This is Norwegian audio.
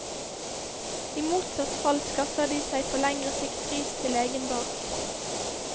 I motsatt fall skaffer de seg på lengre sikt ris til egen bak.